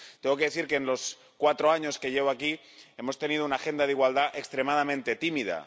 Tengo que decir que en los cuatro años que llevo aquí hemos tenido una agenda de igualdad extremadamente tímida.